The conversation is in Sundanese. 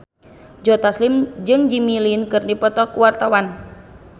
Joe Taslim jeung Jimmy Lin keur dipoto ku wartawan